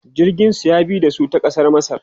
jirgin su ya bi da su ta kasar masar